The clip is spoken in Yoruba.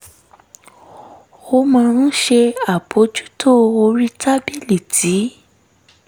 ó máa ń ṣe àbójútó orí tábìlì tí